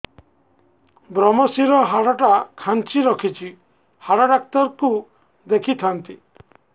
ଵ୍ରମଶିର ହାଡ଼ ଟା ଖାନ୍ଚି ରଖିଛି ହାଡ଼ ଡାକ୍ତର କୁ ଦେଖିଥାନ୍ତି